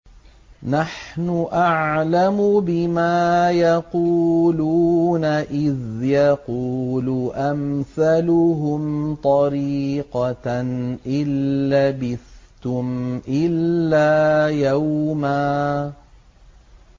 نَّحْنُ أَعْلَمُ بِمَا يَقُولُونَ إِذْ يَقُولُ أَمْثَلُهُمْ طَرِيقَةً إِن لَّبِثْتُمْ إِلَّا يَوْمًا